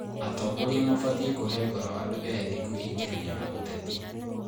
Atongoria mabatiĩ kũhe ngoro andũ ethĩ kwĩingĩrania na ũteti.